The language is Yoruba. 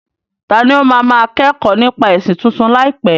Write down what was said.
Tani ó máa máa kẹ́kọ̀ọ́ nípa ẹ̀sìn tuntun láìpẹ́?